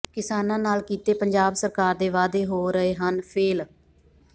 ਕਿਸਾਨਾਂ ਨਾਲ ਕੀਤੇ ਪੰਜਾਬ ਸਰਕਾਰ ਦੇ ਵਾਅਦੇ ਹੋ ਰਹੇ ਹਨ ਫੇਲ